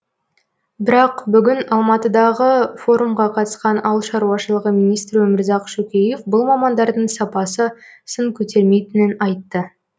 бірақ бүгін алматыдағы форумға қатысқан ауыл шаруашылығы министрі өмірзақ шөкеев бұл мамандардың сапасы сын көтермейтінін айтты